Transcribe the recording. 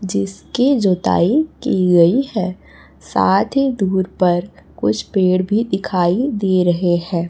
जिसकी जोताई की गई है साथ ही दूर पर कुछ पेड़ दिखाई दे रहे हैं।